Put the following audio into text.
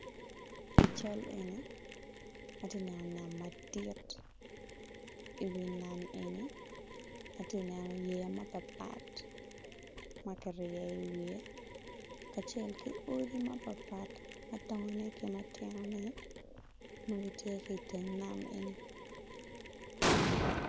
I cal eni, ati neno nam madit, i wi nam eni ati neno yeya mapatpat ma kiryeyo i wiye kacel ki odi mapatpat, madongone ki matinone ma gitye ki teng nam eni.